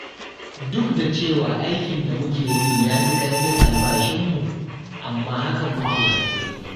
Duk da cewa aikin da muke yi ya fi ƙarfin albashinmu, amma haka muke haƙuri.